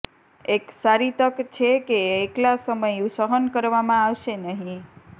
એક સારી તક છે કે એકલા સમય સહન કરવામાં આવશે નહીં